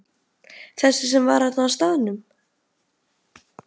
Þessi sem var þarna á staðnum?